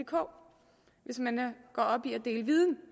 hvis man går op i at dele viden